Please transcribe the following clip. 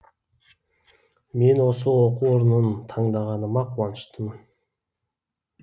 мен осы оқу орнын таңдағаныма қуаныштымын